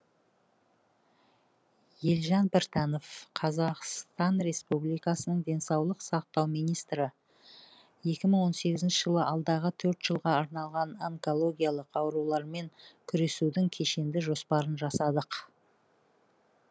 елжан біртанов қазақстан республикасы денсаулық сақтау министрі екі мың он сегізінші жылы алдағы төрт жылға арналған онкологиялық аурулармен күресудің кешенді жоспарын жасадық